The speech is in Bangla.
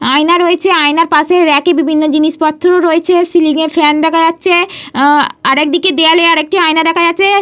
আয়না রয়েছে। আয়নার পাশে রেক এ বিভিন্ন জিনিসপত্র রয়েছে। সিলিং এ ফ্যান দেখা যাচ্ছে। আরেকদিকে দেয়ালে আরেকটি আয়না দেখা যাচ্ছে।